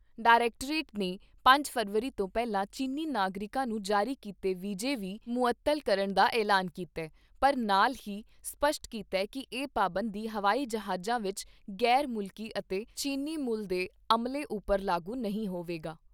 Directorate ਨੇ ਪੰਜ ਫ਼ਰਵਰੀ ਤੋਂ ਪਹਿਲਾਂ ਚੀਨੀ ਨਾਗਰਿਕਾਂ ਨੂੰ ਜਾਰੀ ਕੀਤੇ ਵੀਜੇ ਵੀ ਮੁਅੱਤਲ ਕਰਨ ਦਾ ਐਲਾਨ ਕੀਤਾ ਪਰ ਨਾਲ ਹੀ ਸਪਸ਼ਟ ਕੀਤਾ ਕਿ ਇਹ ਪਾਬੰਦੀ ਹਵਾਈ ਜਹਾਜਾਂ ਵਿਚ ਗ਼ੈਰ ਮੁਲਕੀ ਅਤੇ ਚੀਨੀ ਮੂਲ ਦੇ ਅਮਲੇ ਉੱਪਰ ਲਾਗੂ ਨਹੀਂ ਹਵੇਗਾ।